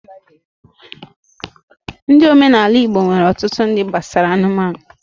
Ndi omenala ala-igbo nwere otutu ndi gbasara anụmanụ